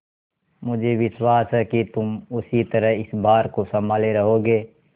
मुझे विश्वास है कि तुम उसी तरह इस भार को सँभाले रहोगे